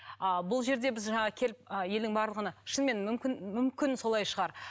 а бұл жерде біз жаңа келіп ы елдің барлығына шынымен мүмкін мүмкін солай шығар